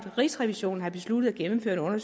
rigsrevisionen har besluttet at gennemføre en